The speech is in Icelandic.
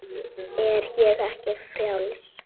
Er ég ekki frjáls?